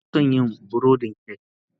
Ina son yin burodin kek